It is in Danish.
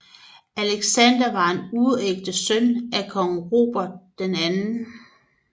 Alexander var en uægte søn af kong Robert 2